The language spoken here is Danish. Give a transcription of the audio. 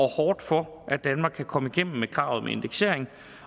hårdt for at danmark kan komme igennem med kravet om indeksering